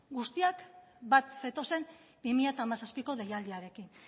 guztiak bat zetozen bi mila hamazazpiko deialdiarekin